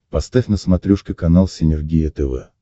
поставь на смотрешке канал синергия тв